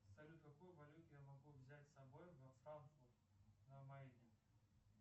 салют какую валюту я могу взять с собой во франкфурт на майне